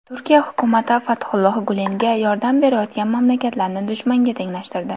Turkiya hukumati Fathulloh Gulenga yordam berayotgan mamlakatlarni dushmanga tenglashtirdi.